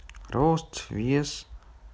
рост вёс